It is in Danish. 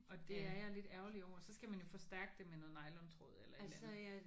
Og det er jeg lidt ærgerlig over. Så skal man jo forstærke det med noget nylontråd eller et eller andet